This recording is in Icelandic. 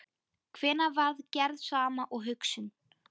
Hvenær varð gerð sama og hugsun?